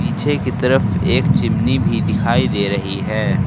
पीछे की तरफ एक चिमनी भी दिखाई दे रही है।